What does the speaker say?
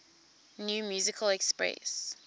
new musical express